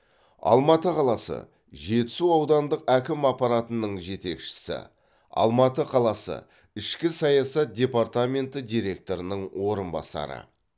алматы қаласы жетісу аудандық әкім аппаратының жетекшісі алматы қаласы ішкі саясат департаменті директорының орынбасары